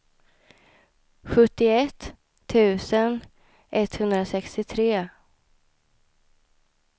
sjuttioett tusen etthundrasextiotre